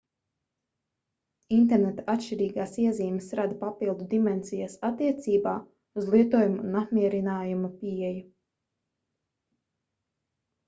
interneta atšķirīgās iezīmes rada papildu dimensijas attiecībā uz lietojuma un apmierinājuma pieeju